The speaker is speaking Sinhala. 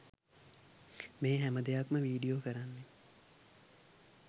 මේ හැම දෙයක්‌ම වීඩියෝ කරන්නේ